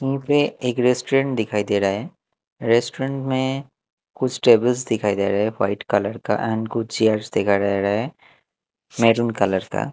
यहीं पे एक रेस्टोरेंट दिखाई दे रहा है रेस्टोरेंट में कुछ टेबल्स दिखाई दे रहे हैं वाइट कलर का एंड कुछ चेयर्स दिखाई दे रहा है मरून कलर का--